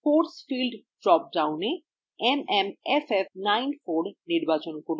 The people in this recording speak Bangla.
force field drop downএ mmff94 নির্বাচন করুন